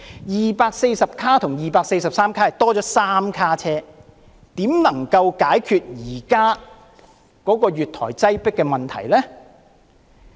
243卡相比240卡只是增加了3卡車，怎可能解決得了現時月台擠迫的問題呢？